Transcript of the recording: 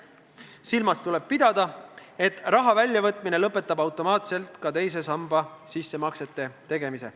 Silmas tuleb pidada, et raha väljavõtmine lõpetab automaatselt ka teise sambasse sissemaksete tegemise.